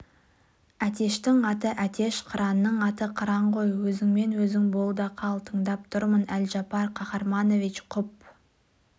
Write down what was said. әтештің аты әтеш қыранның аты қыран ғой өзіңмен-өзің бол да қал тыңдап тұрмын әлжапар қаһарманович құп